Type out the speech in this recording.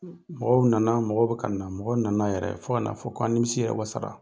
mɔgɔw nana, mɔgɔw be kana. Mɔgɔw nana yɛrɛ, fo kan'a fɔ ko an nimisi yɛrɛ wasara.